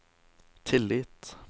tillit